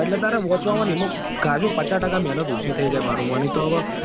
હા એટલે તારે વાંચવા માં ને ખાશો પચાસ ટકા મહેનત ઓછી થઇ જાય મારું મને તો હવે.